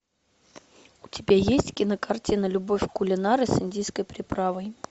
у тебя есть кинокартина любовь кулинара с индийской приправой